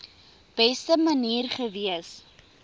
beste manier gewees